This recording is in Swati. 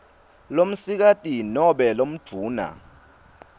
lomsikati nobe lomdvuna